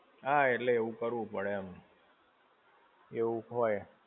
હા એટલે એવું કરવું પડે એમ. એવું હોય.